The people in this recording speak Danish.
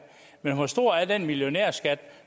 men hvor stor er den millionærskat